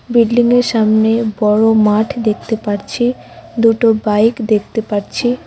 বিল্ডিংয়ের সামনে বড় মাঠ দেখতে পারছি দুটো বাইক দেখতে পারছি ।